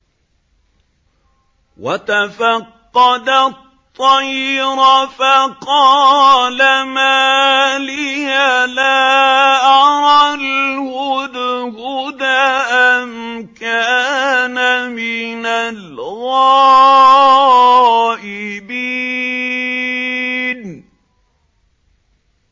وَتَفَقَّدَ الطَّيْرَ فَقَالَ مَا لِيَ لَا أَرَى الْهُدْهُدَ أَمْ كَانَ مِنَ الْغَائِبِينَ